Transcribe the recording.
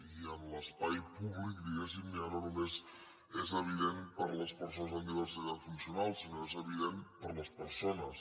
i en l’espai públic diguéssim ja no només és evident per a les persones amb diversitat funcional sinó que és evident per a les persones